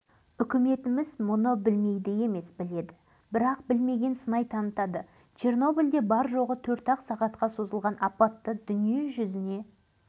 әйтпесе халық депутаттарының съезінде семейдегі сынақ алаңы мәселесін күн тәртібінен алып тастап чернобыль зардаптарын жоюға арнамас еді ғой